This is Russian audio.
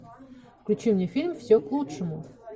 включи мне фильм все к лучшему